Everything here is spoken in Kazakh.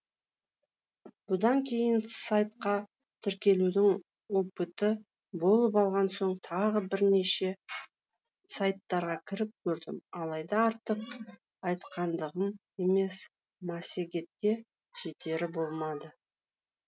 бұдан кейін сайтқа тіркелудің опыты болып алған соң тағы бірнеше сайттарға кіріп көрдім алайда артық айтқандығым емес массегетке жетері болмады